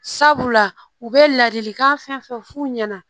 Sabula u bɛ ladilikan fɛn fɛn f'u ɲɛna